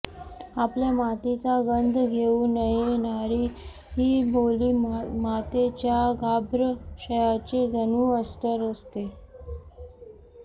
आपल्या मातीचा गंध घेऊनयेणारी बोली मातेच्या गर्भाशयाचे जणू अस्तर असते